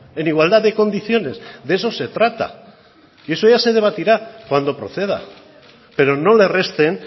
en igualdad de condiciones de eso se trata y eso ya se debatirá cuando proceda pero no le resten